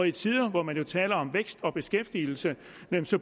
i tider hvor man taler om vækst og beskæftigelse